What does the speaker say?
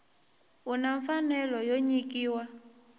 u na mfanelo yo nyikiwa